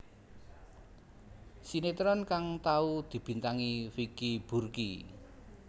Sinétron kang tau dibintangi Vicky Burky